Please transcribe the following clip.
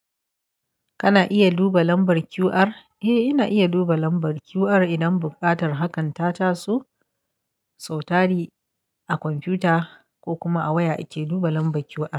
Kana iya duba lambar QR? Eh, ina iya duba lambar QR idan buƙatar hakan ta taso. Sautari a kwamfuta ko kuma a waya ake duba lambar QR.